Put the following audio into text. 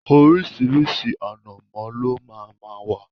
Oríṣiríṣi ànàmọ́ ló máa máa wá.